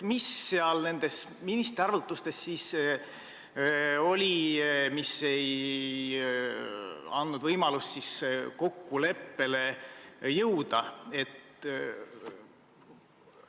Mis seal ministri arvutustes siis oli, mis ei andnud võimalust kokkuleppele jõuda?